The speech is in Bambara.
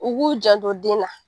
U b'u jandon den na